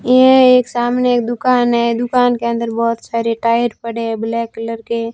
यह एक सामने एक दुकान है दुकान के अंदर बहोत सारे टायर पड़े है ब्लैक कलर के--